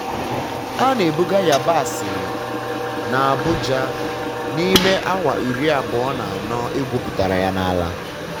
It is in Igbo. a na-ebuga yabasị n'abuja n'ime awa iri abụọ na anọ egwupụtara ya n'ala.